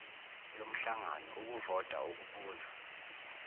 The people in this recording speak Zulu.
yomhlangano ukuvota ukubuza